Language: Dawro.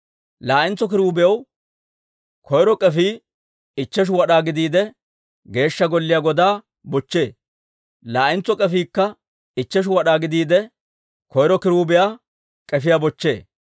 Laa"entso kiruubiyaw koyro k'efii ichcheshu wad'aa gidiide, Geeshsha Golliyaa godaa bochchee; laa'entso k'efiikka ichcheshu wad'aa gidiide, koyro kiruubiyaa k'efiyaa bochchee.